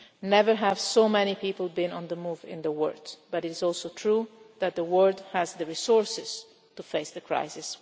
one. Never have so many people been on the move in the world, but it is also true that the world has the resources to face the